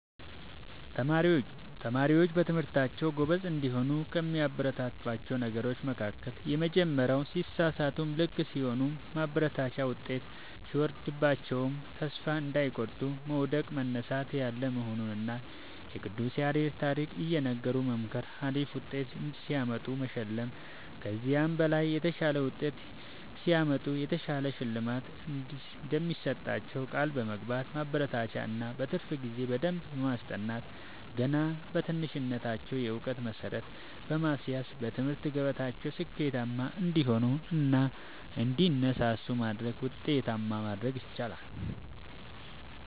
ተማሪዎች በትምህርታቸዉ ጎበዝ እንዲሆኑ ከሚያበረታቷቸዉ ነገሮች መካከል:- የመጀመሪያዉ ሲሳሳቱም ልክ ሲሆኑም ማበረታታት ዉጤት ሲወርድባቸዉም ተስፋ እንዳይቆርጡ መዉደቅ መነሳት ያለ መሆኑንና የቅዱስ ያሬድን ታሪክ እየነገሩ መምከር አሪፍ ዉጤት ሲያመጡ መሸለም ከዚህ በላይ የተሻለ ዉጤት ሲያመጡ የተሻለ ሽልማት እንደሚሰጧቸዉ ቃል በመግባት ማበረታታት እና በትርፍ ጊዜ በደንብ በማስጠናት ገና በትንሽነታቸዉ የእዉቀት መሠረት በማስያዝ በትምህርት ገበታቸዉ ስኬታማ እንዲሆኑ እና እንዲነሳሱ በማድረግ ዉጤታማ ማድረግ ይቻላል።